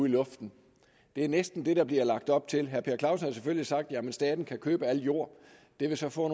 i luften det er næsten det der bliver lagt op til herre per clausen har selvfølgelig sagt at staten bare kan købe al jord det vil så få